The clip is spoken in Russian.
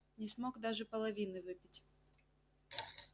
не смог даже половины выпить